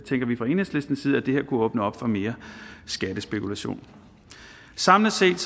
vi fra enhedslistens side at det her kunne åbne op for mere skattespekulation samlet set